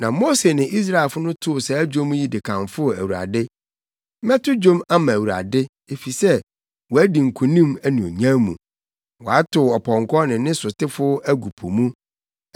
Na Mose ne Israelfo no too saa dwom yi de kamfoo Awurade: “Mɛto dwom ama Awurade, efisɛ wadi nkonim anuonyam mu; Watow ɔpɔnkɔ ne ne sotefo no agu po mu.